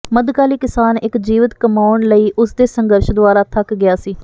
ਮੱਧਕਾਲੀ ਕਿਸਾਨ ਇੱਕ ਜੀਵਿਤ ਕਮਾਉਣ ਲਈ ਉਸ ਦੇ ਸੰਘਰਸ਼ ਦੁਆਰਾ ਥੱਕ ਗਿਆ ਸੀ